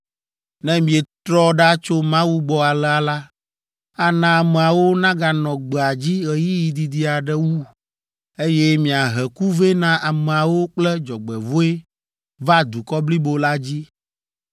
Ne mietrɔ ɖa tso Mawu gbɔ alea la, ana ameawo naganɔ gbea dzi ɣeyiɣi didi aɖe wu, eye miahe ku vɛ na ameawo kple dzɔgbevɔ̃e va dukɔ blibo la dzi!”